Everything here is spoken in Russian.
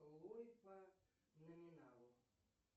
ллойд по номиналу